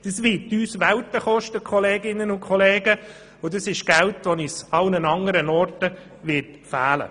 Sie würde uns viel kosten, und dieses Geld wird uns an anderen Orten fehlen.